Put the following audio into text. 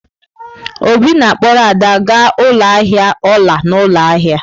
Obi na-akpọrọ Ada gaa ụlọ ahịa ọla n'ụlọ ahịa.